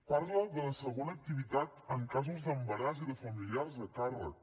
parla de la segona activitat en casos d’embaràs i de familiars a càrrec